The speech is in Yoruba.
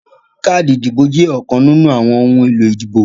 Káàdì ìdìbò jẹ́ ọ̀kan nínú àwọn ohun èlò ìbò